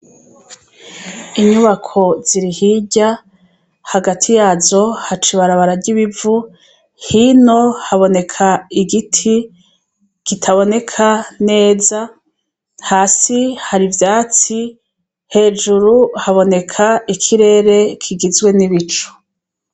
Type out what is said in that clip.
inyubako ziri hirya hagati yazo hacibara bararyibivu hino haboneka igiti kitaboneka neza hasi hari byatsi hejuru haboneka ikirere kigizwe n'ibicu